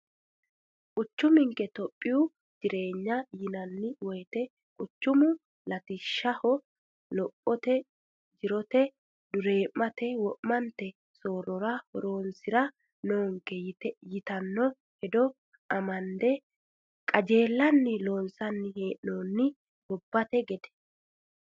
Quchumanke Itophiya jireenyaho yinanni woyte quchumu latishshaho lophote jirote duuramte wo'mante soorrora horonsira noonke yittano hedo amande qajeellanni loonsanni hee'nonni gobbate gede.